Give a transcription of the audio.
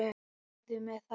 Segðu mér það.